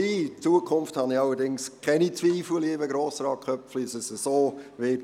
Für die Zukunft, lieber Grossrat Köpfli, habe ich allerdings keine Zweifel, dass dem so sein wird.